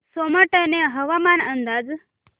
सोमाटणे हवामान अंदाज